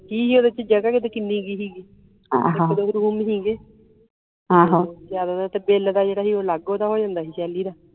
ਕੀ ਹੀ ਓਦੇ ਚ ਜਗ੍ਹਾ ਕਿਤੇ ਕਿਨ੍ਹੀ ਕਾ ਹੀ ਗੀ ਇਕ ਦੋ room ਹੀ ਗੇ ਤੇ ਜਿਆਦਾ ਤਰ ਤਾ ਬਿੱਲ ਦਾ ਜਿਹੜਾ ਹੀ ਉਹ ਅਲੱਗ ਓਦਾਂ ਹੋ ਜਾਂਦਾ ਹੀ ਸ਼ੈਲੀ ਦਾ